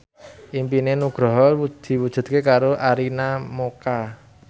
impine Nugroho diwujudke karo Arina Mocca